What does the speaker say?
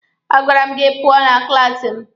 A gwara m gị pụọ na klaasi m!